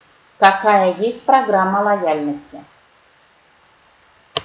какая есть программа лояльности